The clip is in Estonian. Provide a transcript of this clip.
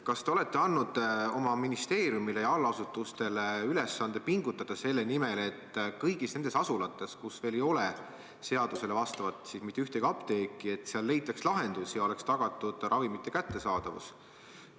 Kas te olete andnud oma ministeeriumile ja allasutustele ülesande pingutada selle nimel, et kõigis nendes asulates, kus veel ei ole mitte ühtegi seadusele vastavat apteeki, leitaks lahendus ja oleks tagatud ravimite kättesaadavus?